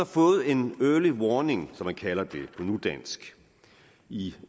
fået en early warning som man kalder det på nudansk i